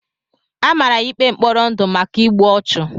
Amara ya ikpe mkpọrọ ndụ maka igbu ọchụ.